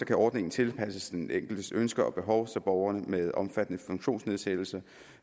kan ordningen tilpasses den enkeltes ønsker og behov så borgere med omfattende funktionsnedsættelse